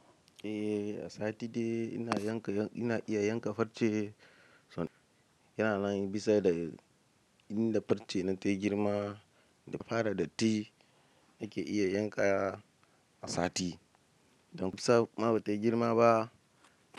Eh, a sati ɗaya ina iya yanka farce yana nan bisa da inda farce na ta girma. Da fara datti nake iya yanka a sati ɗaya. Don bisa ma ba tayi girma ba.